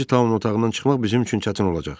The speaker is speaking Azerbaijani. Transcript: Birinci Taonun otağından çıxmaq bizim üçün çətin olacaq.